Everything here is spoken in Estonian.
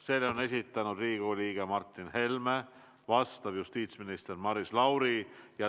Selle on esitanud Riigikogu liige Martin Helme ja vastab justiitsminister Maris Lauri.